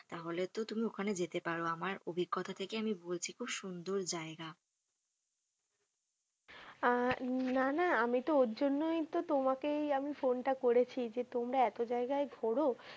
তাহলে তো তুমি ওখানে যেতে পারো আমার আভিঙ্গতা থেকে আমি বলছি খুব সুন্দর জায়গা। আহ না না আমি তো ওর জন্যই তো তোমাকেই আমি ফোনটা করেছি যে তোমরা এত জায়গায় ঘোরো